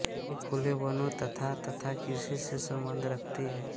ये खुले वनों तथा तथा कृषि से सम्बन्ध रखती हैं